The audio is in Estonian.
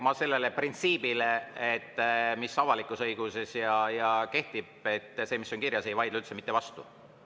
Ma sellele printsiibile, mis avalikus õiguses kehtib, et see, mis on kirjas, ei vaidle üldse mitte vastu.